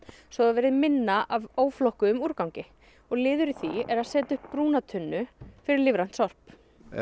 svo það verði minna af óflokkuðum úrgangi liður í því er að setja upp brúna tunnu fyrir lífrænt sorp